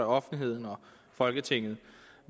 og offentligheden og folketinget